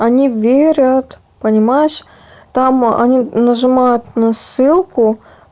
они верят понимаешь там они нажимают на ссылку